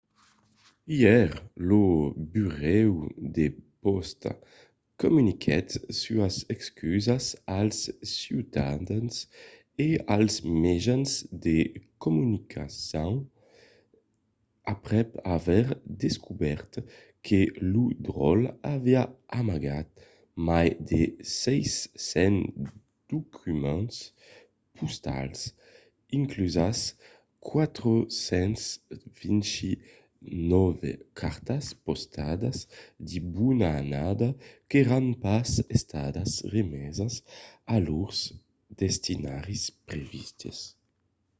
ièr lo burèu de pòsta comuniquèt sas excusas als ciutadans e als mejans de comunicacion aprèp aver descobèrt que lo dròlle aviá amagat mai de 600 documents postals inclusas 429 cartas postalas de bona annada qu’èran pas estadas remesas a lors destinataris previstes